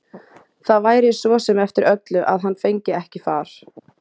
Það væri svo sem eftir öllu að hann fengi ekki far.